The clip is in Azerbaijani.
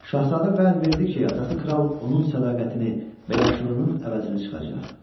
Şahzadə vəd verdi ki, atası kral onun sədaqətini və yaxşılığının əvəzini çıxacaq.